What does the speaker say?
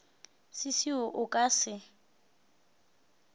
se seo a ka se